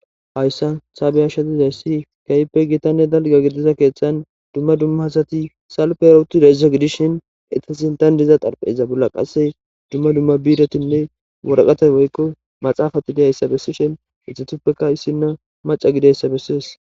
hayssan ta bea'she dizays kahipe gitanne dalga gidiza keeththan dumma dumma asati salpe uttizaysa gidishin etasintan diza xarpheza bolla qasse dumma dumma biiretinne woraqatay woykko maxaafati deyssa bessishin etupeka issinna maca gideyssa bessides.